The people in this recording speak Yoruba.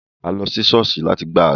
A lo si ṣọ̀ọ́sì lati gbadura.